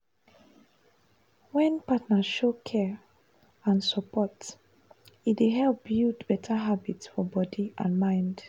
wen partner show care and support e dey help build better habit for body and mind.